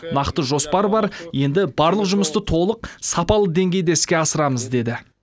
нақты жоспар бар енді барлық жұмысты толық сапалы деңгейде іске асырамыз деді